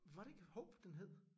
Var det ikke Hope den hed?